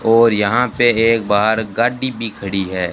और यहां पे एक बाहर गाडी भी खड़ी है।